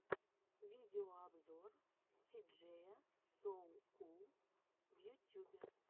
видеообзор си джея соу кул в ютюбе